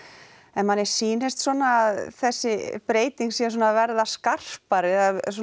en manni sýnist svona að þessi breyting sé svona að verða skarpari